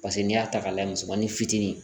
Paseke n'i y'a ta k'a layɛ musomanin fitinin